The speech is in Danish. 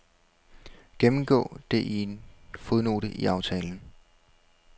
Gennemgå det i en fodnote i aftalen.